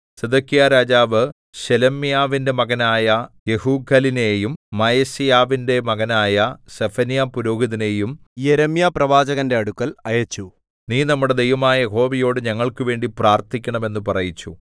സിദെക്കീയാരാജാവ് ശെലെമ്യാവിന്റെ മകനായ യെഹൂഖലിനെയും മയസേയാവിന്റെ മകനായ സെഫന്യാപുരോഹിതനെയും യിരെമ്യാപ്രവാചകന്റെ അടുക്കൽ അയച്ചു നീ നമ്മുടെ ദൈവമായ യഹോവയോട് ഞങ്ങൾക്കുവേണ്ടി പ്രാർത്ഥിക്കണം എന്ന് പറയിച്ചു